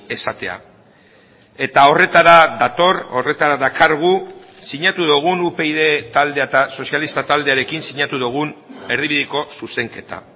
esatea eta horretara dator horretara dakargu sinatu dugun upyd taldea eta sozialista taldearekin sinatu dugun erdibideko zuzenketa